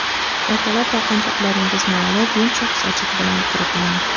Ertalab taqinchoqlaringizni olib, yumshoq sochiq bilan quruqlang.